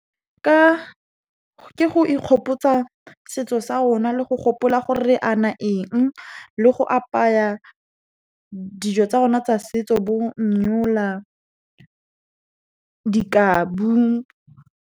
Ke go ikgopotsa setso sa rona, le go gopola gore re ana eng, le go apaya dijo tsa rona tsa setso bo , di kabu.